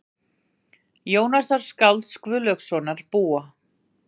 Jónasar skálds Guðlaugssonar búa.